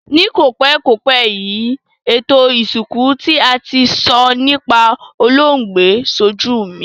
Ni kòpékòpé yi, ètò ìsìnkú ti a ti n so nipa olóògbé sojú mi